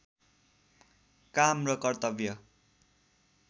काम र कर्तव्य